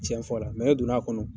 Cɛn fɔ la e donna kɔnɔ.